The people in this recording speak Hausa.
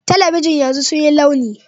Talabijin yanzu sun yi launi